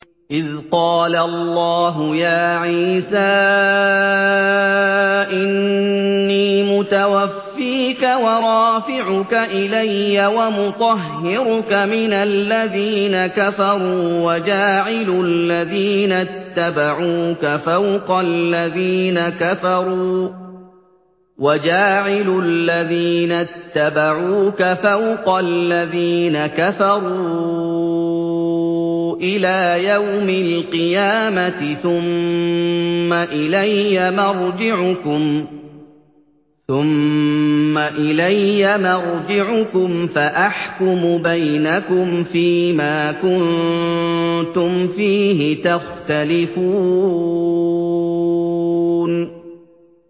إِذْ قَالَ اللَّهُ يَا عِيسَىٰ إِنِّي مُتَوَفِّيكَ وَرَافِعُكَ إِلَيَّ وَمُطَهِّرُكَ مِنَ الَّذِينَ كَفَرُوا وَجَاعِلُ الَّذِينَ اتَّبَعُوكَ فَوْقَ الَّذِينَ كَفَرُوا إِلَىٰ يَوْمِ الْقِيَامَةِ ۖ ثُمَّ إِلَيَّ مَرْجِعُكُمْ فَأَحْكُمُ بَيْنَكُمْ فِيمَا كُنتُمْ فِيهِ تَخْتَلِفُونَ